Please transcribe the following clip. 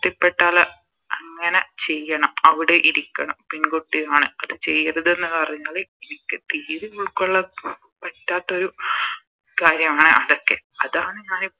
ത്തി പെട്ടാൽ അങ്ങനെ ചെയ്യണം അവിടെ ഇരിക്കണം പെൺകുട്ടിയാണ് അത് ചെയ്യരുത്ന്ന് പറഞ്ഞാല് എനിക്ക് തീരെ ഉൾക്കൊള്ളാൻ പറ്റാത്തൊരു കാര്യമാണ് അതൊക്കെ അതാണ്